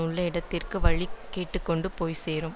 உள்ள இடத்திற்கு வழி கேட்டு கொண்டு போய் சேரும்